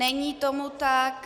Není tomu tak.